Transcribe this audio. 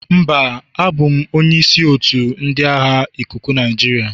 Mba, abụ m onye isi otu ndị agha ikuku Nigeria.